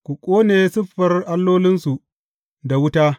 Ku ƙone siffar allolinsu da wuta.